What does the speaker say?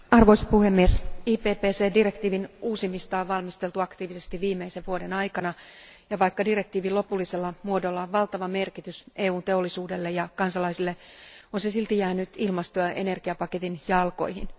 Arvoisa puhemies, IPPC direktiiviä on valmisteltu aktiivisesti viimeisen vuoden aikana ja vaikka direktiivin lopullisella muodolla on valtava merkitys EUn teollisuudelle ja kansalaisille, on se silti jäänyt ilmasto ja energiapaketin jalkoihin.